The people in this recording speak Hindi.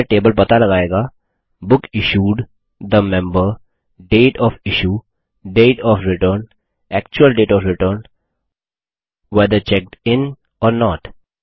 यह टेबल पता लगायेगा book issued the member date of issue date of return actual date of return whether checked in or note